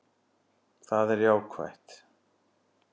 Það er jákvætt